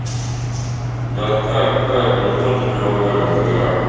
да как так вообще-то не могу нихуя